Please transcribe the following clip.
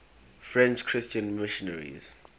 french christian missionaries